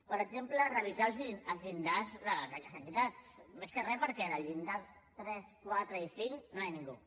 per exemple revisar els llindars de les beques equitat més que re perquè en el llindar tres quatre i cinc no hi ha ningú